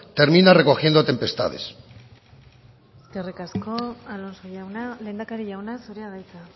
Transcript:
termina recogiendo tempestades eskerrik asko alonso jauna lehendakari jauna zurea da hitza